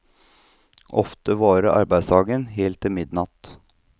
Ofte varer arbeidsdagen helt til midnatt.